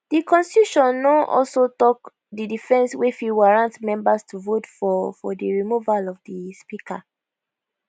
di constitution no also tok di offence wey fit warrant members to vote for for di removal of di speaker